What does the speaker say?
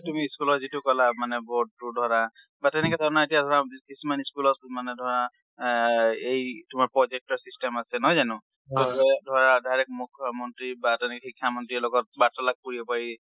হয়। তুমি school ৰ যিটো ক'লা মানে board টো ধৰা, বা তেনেকে ধৰনৰ এতিয়া ধৰা কিছুমান school অত মানে ধৰা এ এই তোমাৰ project ৰ system আছে, নহয় জানো? project ধৰা direct মুখ্যা মন্ত্ৰী বা তেনেকে শিক্ষা মন্ত্ৰীৰ লগত বাৰ্তালাপ কৰিব পাৰি।